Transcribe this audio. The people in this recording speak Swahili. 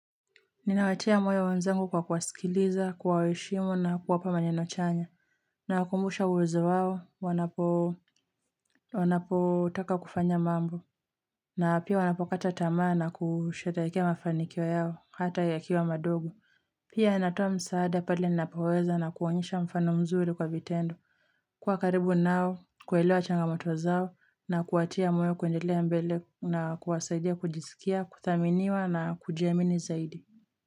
Ninawatia moyo wanzangu kwa kuwasikiliza, kuwaheshimu na kuwapa maneno chanya. Nawakumbusha uwezo wao, wanapotaka kufanya mambo. Na pia wanapokata tamaa na kusherehekea mafanikio yao, hata yakiwa madogo. Pia natoa msaada pale ninapoweza na kuonyesha mfano mzuri kwa vitendo. Kuwa karibu nao, kuelewa changamoto zao na kuwatia moyo kuendelea mbele na kuwasaidia kujisikia, kuthaminiwa na kujiamini zaidi.